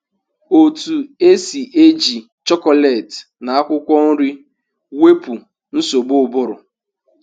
Otu esi eji chocolate na akwụkwọ nri wepụ nsogbu ụbụrụ